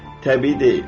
Təbii deyil.